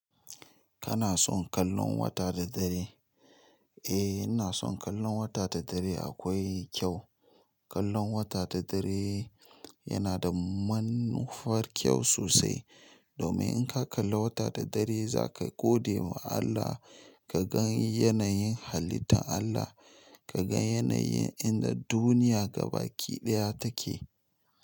Kana son kallon wata da dare? Eh, ina son kallon wata da dare akwai kyau. Kallon wata da dare yana da manufar kyau sosai. Domin in ka kalla wata da dare za ka gode wa Allah ka gan yanayin halitta Allah, ka gan yanayin inda duniya gabaki daya take.